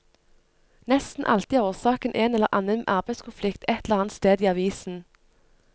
Nesten alltid er årsaken en eller annen arbeidskonflikt et eller annet sted i avisen.